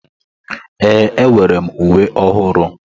Ee, enwere m uwe ọhụrụ.